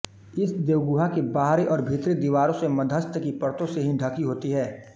इस देहगुहा की बाहरी और भीतरी दीवारें मध्यस्तर की पर्तों से ही ढकी होती हैं